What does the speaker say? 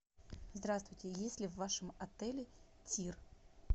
здравствуйте есть ли в вашем отеле тир